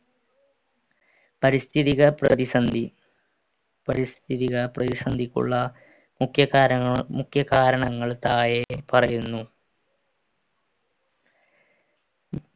പരിസ്ഥിതിക പ്രതിസന്ധി പരിസ്ഥിതിക പ്രതിസന്ധിക്കുള്ള മുഖ്യകാരങ്ങൾ മുഖ്യ കാരണങ്ങൾ താഴെ പറയുന്നു